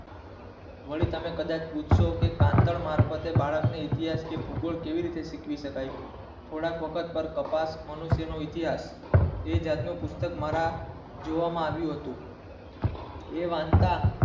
વળી તમે કદાચ પૂછશો તાંડવઃ માર્ગે તમે બાળકો ને ભૂગર્ભ કેવી રીતે ઓળખી શકાય થોડાક વખત પર પતાસ મનુષ્યો નો ઇતિહાસ એ જાત નું પુસ્તક મારા જોવામાં આવ્યું હતું એ વંતા